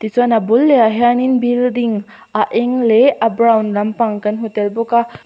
tichuan a bul leh ah hianin building a eng leh a brown lampang kan hmu tel bawk a.